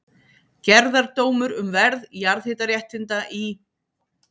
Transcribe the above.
Gerðardómur um verð jarðhitaréttinda í